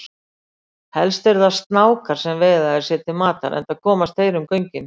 Helst eru það snákar sem veiða þær sér til matar enda komast þeir um göngin.